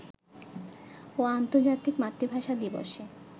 ও আর্ন্তর্জাতিক মাতৃভাষা দিবসে